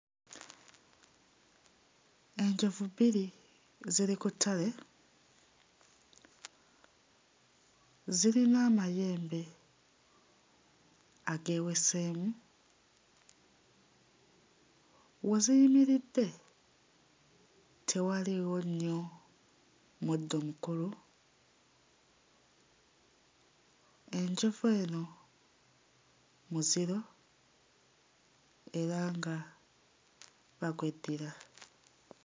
Enjovu bbiri ziri ku ttale zirina amayembe ageeweseemu we ziyimiridde tewaliiwo nnyo muddo mukulu enjovu eno muziro era nga bagweddira.